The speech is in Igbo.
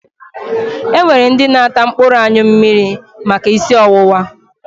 E nwere ndị na-ata mkpụrụ anyụ mmiri maka ísí ọwụwa.